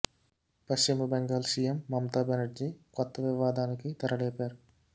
పశ్చిమ బెంగాల్ సీఎం మమత బెనర్జీ కొత్త వివాదానికి తెర లేపారు